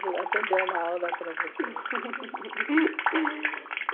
Vou atender uma aula para vocês.